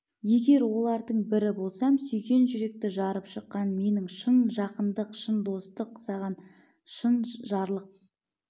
егер олардың бірі болсам сүйген жүректі жарып шыққан менің шын жақындық шын достық саған шын жарлық